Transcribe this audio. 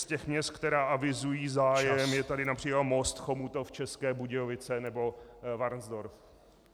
Z těch měst, která avizují zájem, je tady například Most, Chomutov, České Budějovice nebo Varnsdorf.